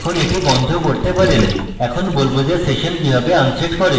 এখন আপনি এটি বন্ধ করতে পারেন এবং আমি বলব যে session কিভাবে unset করে